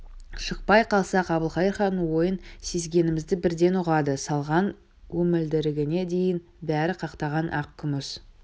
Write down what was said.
шықпай қалсақ әбілқайыр хан ойын сезгенімізді бірден ұғады салған өмілдірігіне дейін бәрі қақтаған ақ күміс